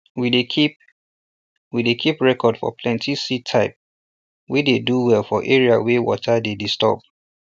we dey keep we dey keep record for plenti seed type wey dey do well for area wey water dey disturb